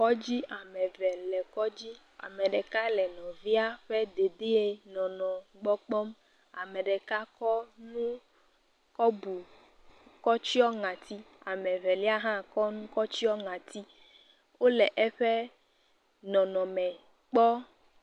Kɔdzi. am eve le kɔdzi. Ame ɖeka le nɔviɛ ƒe dedienɔnɔ gbɔ kpɔm. ame ɖeka kɔ nu kɔ bu, kɔtsyɔ ŋati. Ame velia hã kɔ nu kɔtsyɔ ŋati. Wole eƒe nɔnɔme kpɔ.